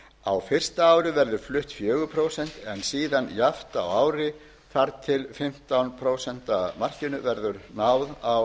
á fyrsta verður flutt fjögur prósent en síðan jafnt á ári þar til fimmtán prósent markinu verður náð á